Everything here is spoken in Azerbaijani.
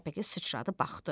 Təpəgöz sıçradı baxdı.